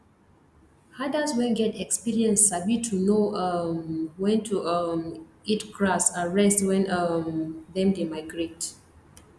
herders wen get experience sabi to know um wen to um eat grass and rest wen um them dey migrate